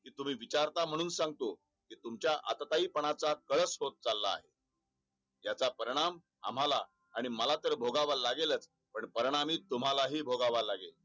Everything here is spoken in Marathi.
तुम्ही विचारता म्हणून सांगतो? तुमच्या आटताली पणाचा कळस होत चालला आहे. याचा परिणाम आम्हला आणि मला तर भोगायला लगेच पण परिणामी तुम्हाला ही भोगावा लागेल.